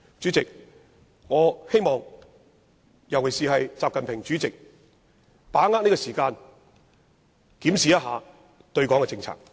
主席，我希望國家主席習近平會把握時間，檢視對港政策。